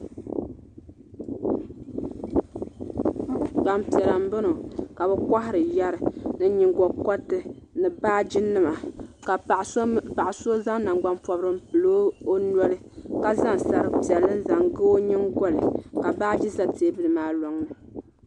Gbaŋ piɛlla n bɔŋɔ ka bi kɔhiri yɛri ni yingkɔriti ni baaji nima ka paɣa so zaŋ nangbani pɔbirigu n pili o noli ka zaŋ sari piɛlli n zaŋ ga o yingoli ka baaji za tɛɛbuli maa lɔŋni.